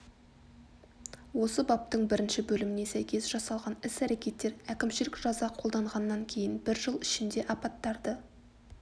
осы бабтың бірінші бөліміне сәйкес жасалған іс-әрекеттер әкімшілік жаза қолданғаннан кейін бір жыл ішінде апаттарды